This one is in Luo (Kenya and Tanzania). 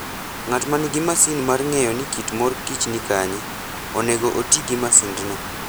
Ng'at ma nigi masin mar ng'eyo ni kit mor kich ni kanye, onego oti gi masindno.